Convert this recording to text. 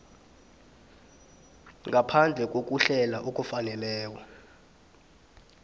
ngaphandle kokuhlela okufaneleko